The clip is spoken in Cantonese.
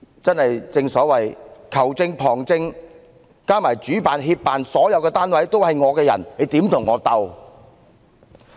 正所謂球證、旁證加上主辦、協辦所有單位都是政府的人，我們怎能與她相鬥？